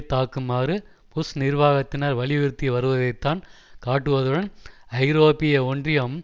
தாக்குமாறு Bush நிர்வாகத்தினர் வலியுறுத்தி வருவதைத்தான் காட்டுவதுடன் ஐரோப்பிய ஒன்றியம்